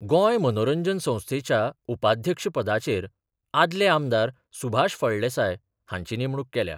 गोंय मनोरंजन संस्थेच्या उपाध्यक्ष पदाचेर आदले आमदार सुभाष फळदेसाय हांची नेमणूक केल्या.